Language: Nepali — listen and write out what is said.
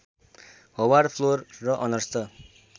होवार्ड फ्लोरे र अर्नस्ट